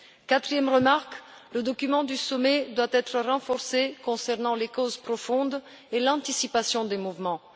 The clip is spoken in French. Quatrième remarque le document du sommet doit être renforcé concernant les causes profondes et l'anticipation des mouvements.